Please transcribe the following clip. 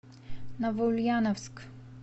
новоульяновск